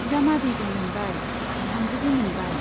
बिजामादैबो मोनबाय , बिहामजोबो मोनबाय।